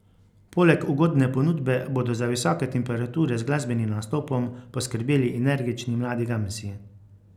Poleg ugodne ponudbe bodo za visoke temperature z glasbenim nastopom poskrbeli energični Mladi Gamsi.